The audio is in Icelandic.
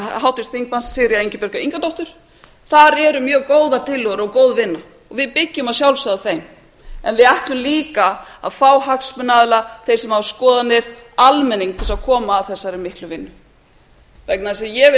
háttvirts þingmanns sigríðar ingibjargar ingadóttur þar eru mjög góðar tillögur og góð vinna og við byggjum að sjálfsögðu á þeim en við ætlum líka að fá hagsmunaaðila þá sem hafa skoðanir almenning til að koma að þessari miklu vinnu vegna þess að ég